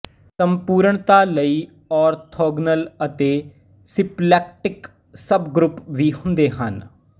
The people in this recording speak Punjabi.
ਸੰਪੂਰਣਤਾ ਲਈ ਔਰਥੋਗਨਲ ਅਤੇ ਸਿੰਪਲੈਕਟਿਕ ਸਬਗਰੁੱਪ ਵੀ ਹੁੰਦੇ ਹਨ